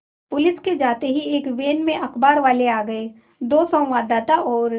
police के जाते ही एक वैन में अखबारवाले आ गए दो संवाददाता और